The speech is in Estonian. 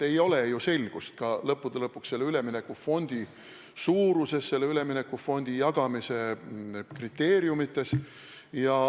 Ei ole ju selgust ka selle üleminekufondi suuruses, selle üleminekufondi raha jagamise kriteeriumides.